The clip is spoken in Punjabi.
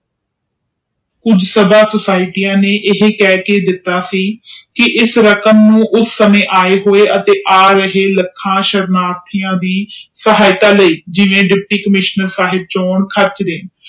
ਉਸ ਸਮੇ ਸੋਸਿਟੀਏਏ ਨੇ ਇਹ ਕਹਿ ਕੇ ਦਿਤਾ ਸੀ ਕਿ ਇਸ ਰਕਮ ਨੂੰ ਆਏ ਹੋਏ ਤੇ ਆਏ ਹੋ ਚੁਕੇ ਸਹਾਇਤਾ ਲਾਇ ਜਿਵੇਂ ਦੁਪਟੀ ਕੰਮਿਸ਼ਨਰ ਸਾਹਿਬ ਚੋਣ ਖਰਚ ਲਾਇ